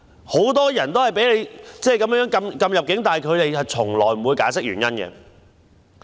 很多人也被政府禁止入境，但政府從來不會解釋原因。